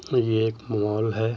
ये एक मॉल है।